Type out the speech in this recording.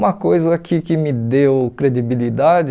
Uma coisa que que me deu credibilidade...